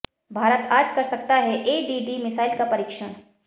भारत आज कर सकता है एडीडी मिसाइल का परीक्षण